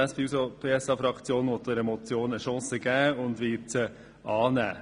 Die SP-JUSO-PSA-Fraktion will dieser Motion eine Chance geben und sie annehmen.